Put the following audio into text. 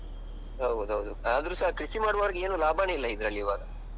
ಹೌದೌದು. ಆದ್ರುಸ ಕೃಷಿ ಮಾಡುವವರಿಗೆ ಏನು ಲಾಭನೆ ಇಲ್ಲ ಇದ್ರಲ್ಲಿ ಇವಾಗ.